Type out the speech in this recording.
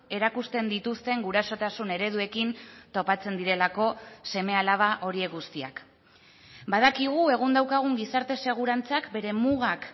erakusten dituzten gurasotasun ereduekin topatzen direlako seme alaba horiek guztiak badakigu egun daukagun gizarte segurantzak bere mugak